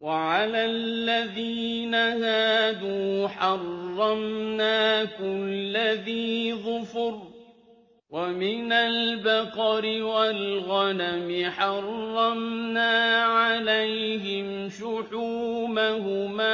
وَعَلَى الَّذِينَ هَادُوا حَرَّمْنَا كُلَّ ذِي ظُفُرٍ ۖ وَمِنَ الْبَقَرِ وَالْغَنَمِ حَرَّمْنَا عَلَيْهِمْ شُحُومَهُمَا